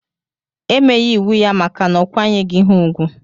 Emeyi iwu ya maka na okwanyeghi ha ugwu.